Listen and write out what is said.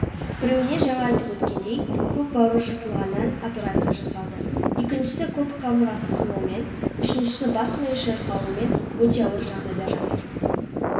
біреуіне жаңа айтып өткендей көк бауыры жыртылғаннан операция жасалды екіншісі көп қабырғасы сынуымен үшіншісі бас миы шайқалуымен өте ауыр жағдайда жатыр